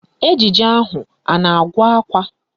Ejije ahụ a na-agụ akwa?